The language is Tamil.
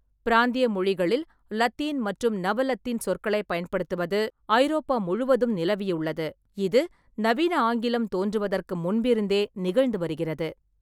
பிராந்திய மொழிகளில் லத்தீன் மற்றும் நவ லத்தீன் சொற்களைப் பயன்படுத்துவது ஐரோப்பா முழுவதும் நிலவிலுள்ளது, இது நவீன ஆங்கிலம் தோன்றுவதற்கு முன்பிருந்தே நிகழ்ந்து வருகிறது.